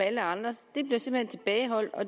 alle andre